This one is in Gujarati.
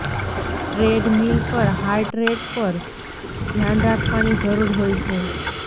ટ્રેડમિલ પર હાર્ટ રેટ પર ધ્યાન રાખવાની જરૂર હોય છે